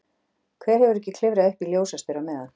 Hver hefur ekki klifrað upp í ljósastaur á meðan?